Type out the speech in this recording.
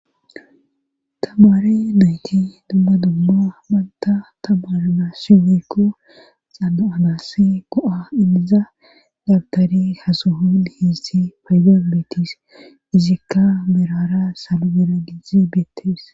tamare nayti dumma dumma banta tamare naassi woykko xano7anas go7a inniza dabtari hasoho dihessi paydan beettes izikka mirara sabibera gize beettees